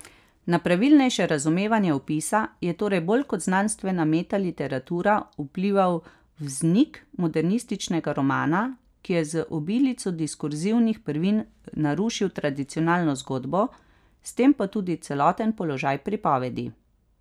Na pravilnejše razumevanje opisa je torej bolj kot znanstvena metaliteratura vplival vznik modernističnega romana, ki je z obilico diskurzivnih prvin narušil tradicionalno zgodbo, s tem pa tudi celoten položaj pripovedi.